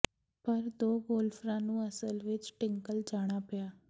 ਪਰ ਦੋ ਗੋਲਫਰਾਂ ਨੂੰ ਅਸਲ ਵਿਚ ਟਿੰਕਲ ਜਾਣਾ ਪਿਆ